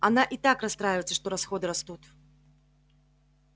она и так расстраивается что расходы растут